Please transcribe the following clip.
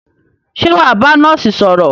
Ṣé wà á bá nọ́ọ́sì sọ̀rọ̀?